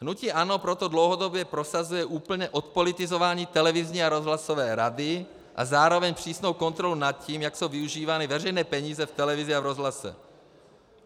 Hnutí ANO proto dlouhodobě prosazuje úplné odpolitizování televizní a rozhlasové rady a zároveň přísnou kontrolu nad tím, jak jsou využívány veřejné peníze v televizi a v rozhlase.